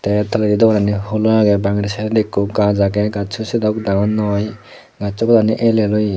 te eyot toledi dorani hulo agey bangedi saaidedi ekku gaj agey gasso sedok dangor noi gasso padagani ell ell oye.